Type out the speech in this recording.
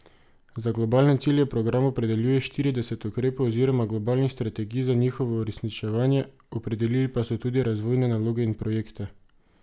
Za globalne cilje program opredeljuje štirideset ukrepov oziroma globalnih strategij za njihovo uresničevanje, opredelili pa so tudi razvojne naloge in projekte.